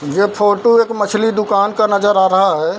ये फोटो एक मछली दुकान का नजर आ रहा है।